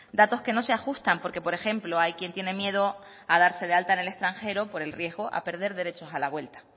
datos que no se ajustan porque por ejemplo hay quien tiene miedo a darse de alta en el extranjero por el riesgo a perder derechos a la vuelta